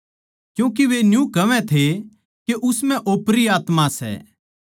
क्यूँके वे न्यू कहवै थे के उस म्ह ओपरी आत्मा सै